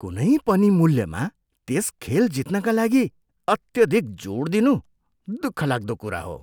कुनै पनि मूल्यमा त्यस खेल जित्नका लागि अत्यधिक जोड दिनु दुःखलाग्दो कुरा हो।